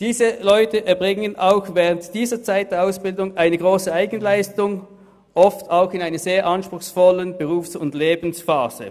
Diese Leute erbringen auch während der Ausbildungszeit eine grosse Eigenleistung, oft auch in einer sehr anspruchsvollen Berufs- und Lebensphase.